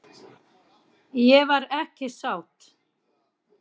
Ég var ekki sátt.